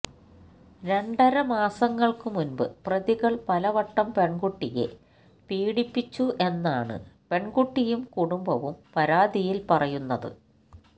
രണ്ടര മാസങ്ങൾക്ക് മുൻപ് പ്രതികൾ പലവട്ടം പെണ്കുട്ടിയെ പീഡിപ്പിച്ചു എന്നാണ് പെൺകുട്ടിയും കുടുംബവും പരാതിയിൽ പറയുന്നത്